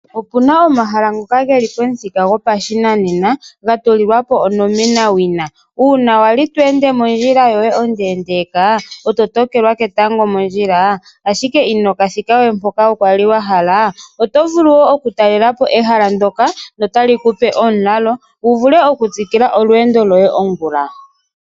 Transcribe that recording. Opuna omahala ngoka geli pomuthika gopashinanena, ga tulilwa po onomena wina, uuna wali to ende mondjila yoye ondeendeeka e to tokelwa ketango mondjila ashike ino ka thika we mpoka wali wa hala, oto vulu wo oku talela po ehala ndoka notali ku pe omulalo, wu vule oku tsikila olweendo lwoye ongula.